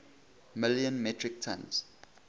million metric tons